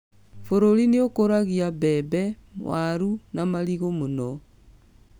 Bũrũri nĩũkũragia mbembe, warũ na marigũ mũno